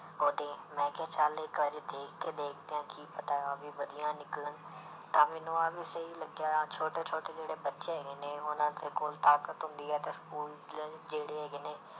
ਉਹਦੀ ਮੈਂ ਕਿਹਾ ਚੱਲ ਇੱਕ ਵਾਰੀ ਦੇਖ ਕੇ ਦੇਖਦੇ ਹਾਂ ਕੀ ਪਤਾ ਉਹ ਵੀ ਵਧੀਆ ਨਿਕਲਣ ਤਾਂ ਮੈਨੂੰ ਆਹ ਵੀ ਸਹੀ ਲੱਗਿਆ ਛੋਟੇ ਛੋਟੇ ਜਿਹੜੇ ਬੱਚੇ ਹੈਗੇ ਨੇ ਉਹਨਾਂ ਦੇ ਕੋਲ ਤਾਕਤ ਹੁੰਦੀ ਹੈ ਤਾਂ ਸਕੂਲੇ ਜਿਹੜੇ ਹੈਗੇ ਨੇ